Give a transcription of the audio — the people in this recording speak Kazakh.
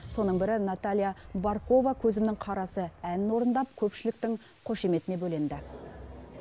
соның бірі наталия баркова көзімнің қарасы әнін орындап көпшіліктің қошеметіне бөленді